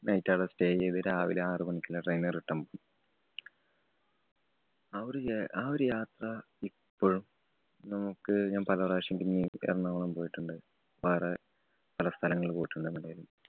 Night അവിടെ stay ചെയ്തു രാവിലെ ആറു മണിക്കുള്ള train ല്‍ return പോയി. ആ ഒരു യാ~ ആ ഒരു യാത്ര ഇപ്പോഴും നമുക്ക് ഞാന്‍ പലപ്രാവശ്യം പിന്നെയും എറണാകുളം പോയിട്ടുണ്ട്. വേറെ പല സ്ഥലങ്ങളും പോയിട്ടുണ്ട് എവിടേലും